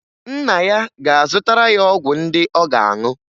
Nna ya ga-azụtara ya ọgwụ ndị ọ ga-anụ.